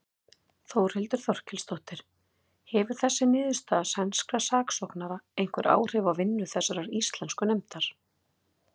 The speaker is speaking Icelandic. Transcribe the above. Þórhildur Þorkelsdóttir: Hefur þessi niðurstaða sænskra saksóknara einhver áhrif á vinnu þessarar íslensku nefndar?